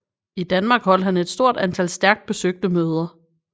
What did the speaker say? I Danmark holdt han et stort antal stærkt besøgte møder